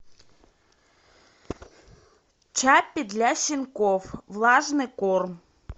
чаппи для щенков влажный корм